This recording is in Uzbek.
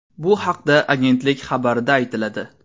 Bu haqda agentlik xabarida aytiladi .